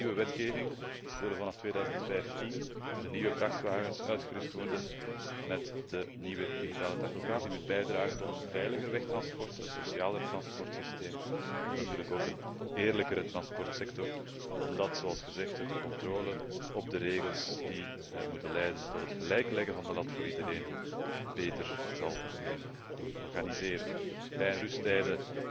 Dankzij de nieuwe wetgeving worden vanaf 2015 de nieuwe vrachtwagens uitgerust met de nieuwe digitale tachograaf, die moet bijdragen tot een veiliger wegtransport, een socialer transportsysteem en natuurlijk ook een eerlijkere transportsector, omdat hiermee de controle op de regels die moeten leiden tot het gelijk leggen van de lat voor iedereen beter zal kunnen worden georganiseerd. Rij en rusttijden